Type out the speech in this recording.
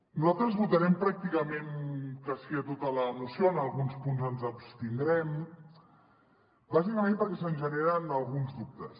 nosaltres votarem pràcticament que sí a tota la moció en alguns punts ens abstindrem bàsicament perquè se’ns hi generen alguns dubtes